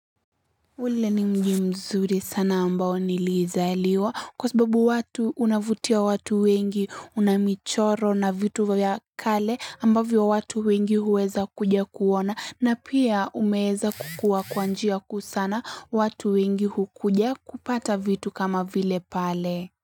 Ule ni mji mzuri sana ambao nilizaliwa kwa sababu watu unavutia watu wengi unamichoro na vitu vya kale ambavyo watu wengi huweza kuja kuona na pia umeweza kukua kwa njia kuu sana watu wengi hukuja kupata vitu kama vile pale.